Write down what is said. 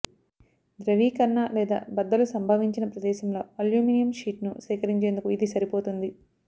ద్రవీకరణ లేదా బద్దలు సంభవించిన ప్రదేశంలో అల్యూమినియం షీట్ను సేకరించేందుకు ఇది సరిపోతుంది